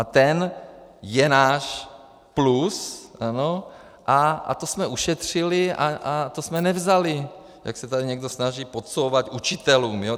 A ten je náš plus a to jsme ušetřili a to jsme nevzali, jak se tady někdo snaží podsouvat, učitelům.